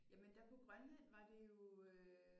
Jamen der på Grønland var det jo øh